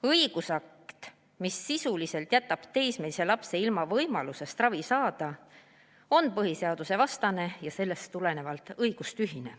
Õigusakt, mis sisuliselt jätab teismelise lapse ilma võimalusest ravi saada, on põhiseadusevastane ja sellest tulenevalt õigustühine.